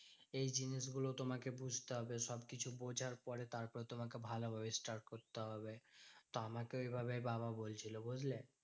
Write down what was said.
এই জিনিসগুলো তোমাকে বুঝতে হবে। সবকিছু বোঝার পরে তারপর তোমাকে ভালোভাবে start করতে হবে। তো আমাকেও এইভাবে বাবা বলছিল, বুঝলে?